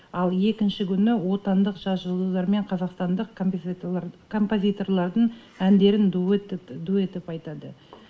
ал екінші күні отандық жас жұлдыздар мен қазақстандық композиторлардың әндерін дуэт етіп айтады